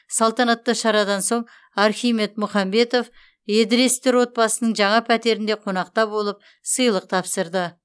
салтанатты шарадан соң архимед мұхамбетов едіресовтер отбасының жаңа пәтерінде қонақта болып сыйлық тапсырды